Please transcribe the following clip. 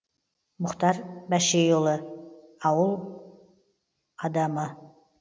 мұхтар бәшейұлы абай аулының адамы